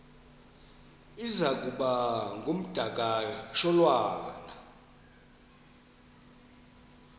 iza kuba ngumdakasholwana